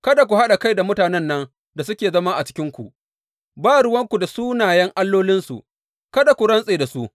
Kada ku haɗa kai da mutanen nan da suke zama cikinku; ba ruwanku da sunayen allolinsu, kada ku rantse da su.